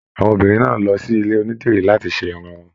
Àwọn obìnrin náà lọ sí ilé onídìrí láti ṣe Irun wọn.